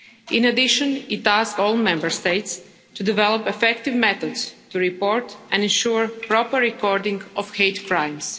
In addition, it asked all Member States to develop effective methods to report and ensure proper recording of hate crimes.